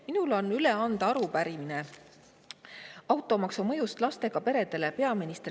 Minul on peaminister Kristen Michalile üle anda arupärimine automaksu mõju kohta lastega peredele.